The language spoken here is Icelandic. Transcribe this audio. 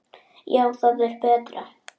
Já, það er betra.